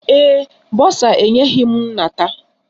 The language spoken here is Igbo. Ee e, bọsa enyeghị m nnata